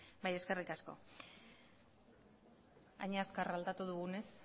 bai eskerrik asko hain azkar aldatu dugunez